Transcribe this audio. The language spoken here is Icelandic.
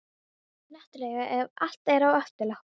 Náttúrlega ef allt er á afturlöppunum.